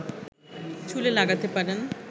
চুলে লাগাতে পারেন